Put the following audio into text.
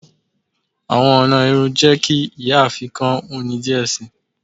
Awọn ọna irun jẹ ki iyaafin kan wuni diẹ sii.